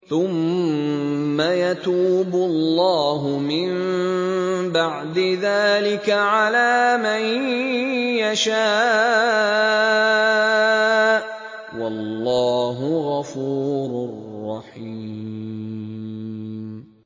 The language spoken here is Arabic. ثُمَّ يَتُوبُ اللَّهُ مِن بَعْدِ ذَٰلِكَ عَلَىٰ مَن يَشَاءُ ۗ وَاللَّهُ غَفُورٌ رَّحِيمٌ